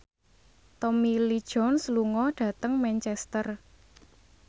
Tommy Lee Jones lunga dhateng Manchester